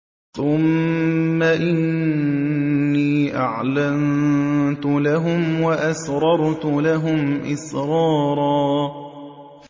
ثُمَّ إِنِّي أَعْلَنتُ لَهُمْ وَأَسْرَرْتُ لَهُمْ إِسْرَارًا